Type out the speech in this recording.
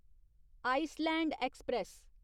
Iceland express